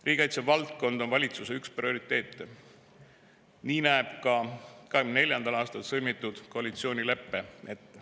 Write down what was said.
Riigikaitsevaldkond on üks valitsuse prioriteete, seda näeb ette ka 2024. aastal sõlmitud koalitsioonilepe.